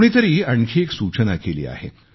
कुणीतरी आणखी एक सूचना केली आहे